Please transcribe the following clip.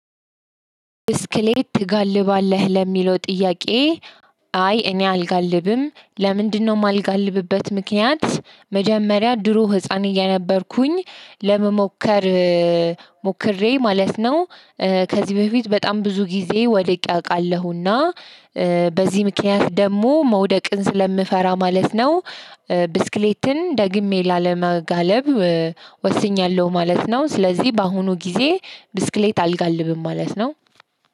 ብስክሌት ትጋልባለህ ለሚለው ጥያቄ? አይ እኔ አልጋልብም ለምንድን ነው የማልጋልብበት ምክንያት መጀመሪያ ድሮ ህፃን እየነበርኩኝ ለመሞከር ሞክሬ ማለት ነው። ከዚህ በፊት በጣም ብዙ ጊዜ ወድቄ አውቃለሁና በዚህ ምክንያት ደግሞ መውደቅን ስለምፈራ ማለት ነው። ብስክሌትን ደግሜ ላለመጋለብ ወስኛለሁ ማለት ነው። ስለዚህ በአሁኑ ጊዜ ብስክሌት አልጋልብም ማለት ነው።